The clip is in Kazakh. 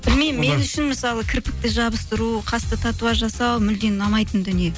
білмеймін мен үшін мысалы кірпікті жабыстыру қасты татуаж жасау мүлдем ұнамайтын дүние